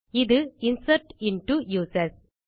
இது insert into users